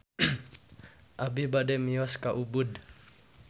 Abi bade mios ka Ubud